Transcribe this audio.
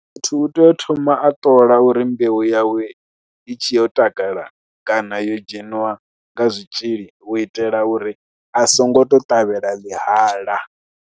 Muthu u tea u thoma a ṱola uri mbeu yawe i tshe yo takala kana yo dzheniwa nga zwitzhili, u itela uri a songo tou ṱavhela ḽihala.